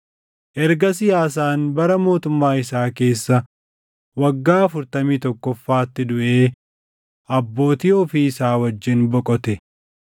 Ergasii Aasaan bara mootummaa isaa keessa waggaa afurtamii tokkoffaatti duʼee abbootii ofii isaa wajjin boqote.